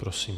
Prosím.